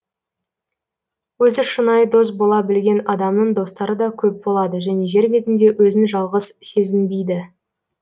өзі шынайы дос бола білген адамның достары да көп болады және жер бетінде өзін жалғыз сезінбейді